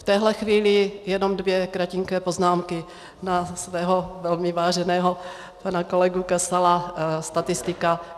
V téhle chvíli jenom dvě kratinké poznámky na svého velmi váženého pana kolegu Kasala, statistika.